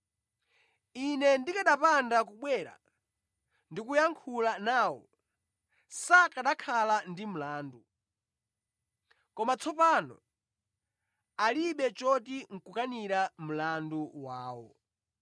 Ine ndikanapanda kubwera ndi kuyankhula nawo, sakanakhala ndi mlandu. Koma tsopano alibe choti nʼkukanira mlandu wawo.